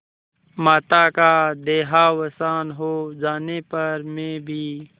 माता का देहावसान हो जाने पर मैं भी